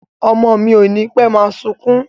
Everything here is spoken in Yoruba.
Ọmọ mi ò nipe máa sunkún